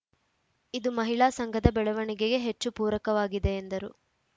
ಇದು ಮಹಿಳಾ ಸಂಘದ ಬೆಳವಣಿಗೆಗೆ ಹೆಚ್ಚು ಪೂರಕವಾಗಿದೆ ಎಂದರು